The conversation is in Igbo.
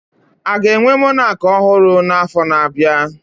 Aga enwe Monak ọhụrụ na afo na abịa?